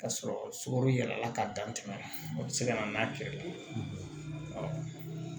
Ka sɔrɔ sukaro yɛlɛla ka dantɛmɛ o bi se ka na n'a kɛra